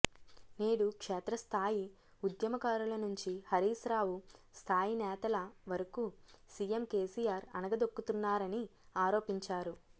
నేడు క్షేత్రస్థాయి ఉద్యమకారుల నుంచి హరీశ్రావు స్థాయి నేతల వరకు సీఎం కేసీఆర్ అణగదొక్కుతున్నారని ఆరోపించారు